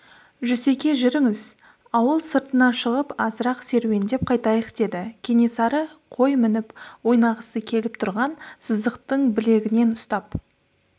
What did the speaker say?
жүсеке жүріңіз ауыл сыртына шығып азырақ серуендеп қайтайық деді кенесары қой мініп ойнағысы келіп тұрған сыздықтың білегінен ұстап